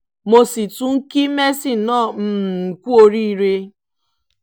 mo sì tún kí messi náà um kú oríire